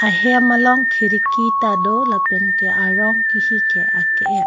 hem along khiriki tado lapen ke arong ke hi ke ake et.